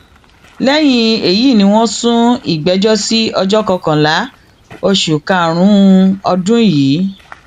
lẹyìn èyí ni wọn sún ìgbẹjọ sí ọjọ kọkànlá oṣù karùnún ọdún yìí